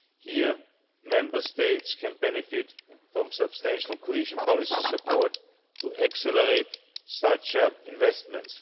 Here Member States can benefit from substantial cohesion policy support to accelerate such investments.